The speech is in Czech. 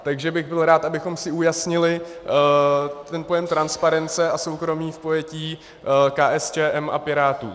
Takže bych byl rád, abychom si ujasnili ten pojem transparence a soukromí v pojetí KSČM a Pirátů.